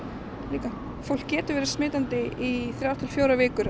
líka fólk getur verið smitandi í þrjár til fjórar vikur